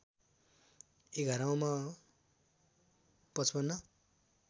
एघारौँमा ५५